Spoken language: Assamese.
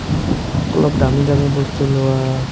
অলপ দামী দামী বস্তু লোৱা